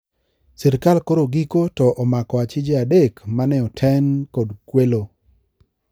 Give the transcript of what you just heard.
Sirkal koro giko to omako achije adek maneoten kod kwelo